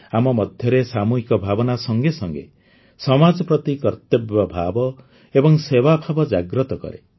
ଆମ ମଧ୍ୟରେ ସାମୂହିକ ଭାବନା ସଙ୍ଗେ ସଙ୍ଗେ ସମାଜ ପ୍ରତି କର୍ତ୍ତବ୍ୟଭାବ ଏବଂ ସେବାଭାବ ଜାଗ୍ରତ କରେ